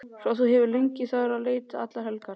Svo þú hefur legið þar í leti allar helgar!